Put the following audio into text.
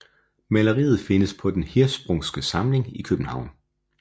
Maleriet findes på Den Hirschsprungske Samling i København